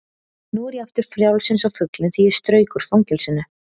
Nú er ég aftur frjáls eins og fuglinn því ég strauk úr fangelsinu.